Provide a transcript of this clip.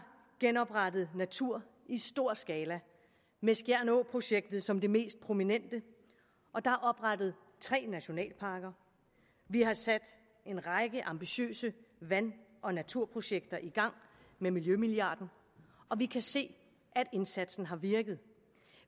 genoprettet natur i stor skala med skjern å projektet som det mest prominente og der er oprettet tre nationalparker vi har sat en række ambitiøse vand og naturprojekter i gang med miljømilliarden og vi kan se at indsatsen har virket